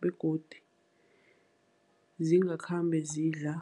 begodi zingakhambi zidla.